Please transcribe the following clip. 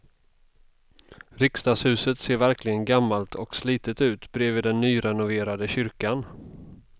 Riksdagshuset ser verkligen gammalt och slitet ut bredvid den nyrenoverade kyrkan.